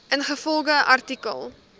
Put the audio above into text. ingevolge artikel